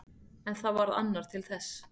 En það varð annar til þess.